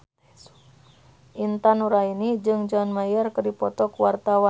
Intan Nuraini jeung John Mayer keur dipoto ku wartawan